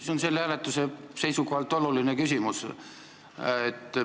See on selle hääletuse seisukohalt oluline küsimus.